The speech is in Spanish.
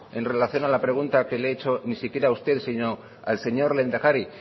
en relación a la pregunta que le he hecho ni siquiera usted sino al señor lehendakari